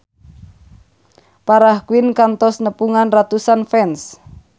Farah Quinn kantos nepungan ratusan fans